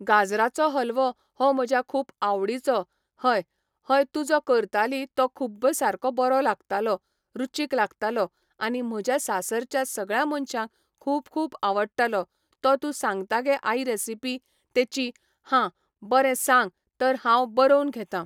गाजराचो हलवो हो म्हज्या खूब आवडीचो हय हय तूं जो करताली तो खूब्ब सारको बरो लागतालो रुचीक लागतालो आनी म्हज्या सासरच्या सगळ्या मनशांक खूब खूब आवडटालो तो तूं सांगता गे आई रेसीपी तेची हां बरें सांग तर हांव बरोवन घेतां